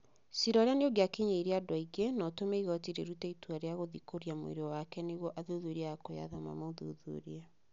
ciira ũria nĩ ũngĩakinyĩirie andũ aingĩ na ũtũme igooti rĩrute itua rĩa gũthikũrũkia mwĩrĩ wake nĩguo athuthuria a kwĩyatha mamũthuthurie.